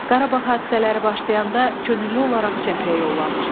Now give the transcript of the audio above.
Qarabağ hadisələri başlayanda könüllü olaraq cəbhəyə yollanır.